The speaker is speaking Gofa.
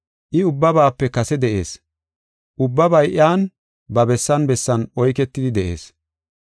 I ubbabaape kase de7ees. Ubbabay iyan ba bessan bessan oyketidi de7ees.